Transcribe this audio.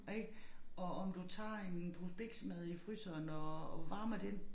Ik og om du tager en pose biksemad i fryseren og varmer den